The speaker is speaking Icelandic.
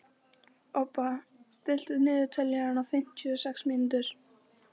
Obba, stilltu niðurteljara á fimmtíu og sex mínútur.